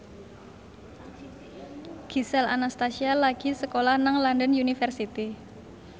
Gisel Anastasia lagi sekolah nang London University